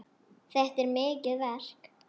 Þetta er mikið verk.